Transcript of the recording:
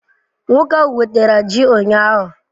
Nwoke ahu wetara ji ụnyahụ?